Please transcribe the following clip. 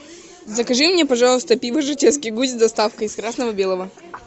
закажи мне пожалуйста пиво жатецкий гусь с доставкой из красно белого